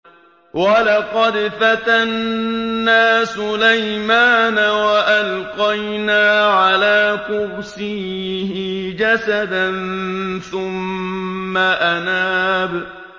وَلَقَدْ فَتَنَّا سُلَيْمَانَ وَأَلْقَيْنَا عَلَىٰ كُرْسِيِّهِ جَسَدًا ثُمَّ أَنَابَ